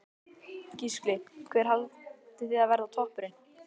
Gísli: Hver haldið þið að verði toppurinn?